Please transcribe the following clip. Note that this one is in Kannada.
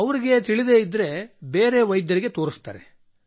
ಅವರಿಗೆ ತಿಳಿಯದಿದ್ದರೆ ಬೇರೆ ವೈದ್ಯರಿಗೆ ತೋರಿಸುತ್ತಾರೆ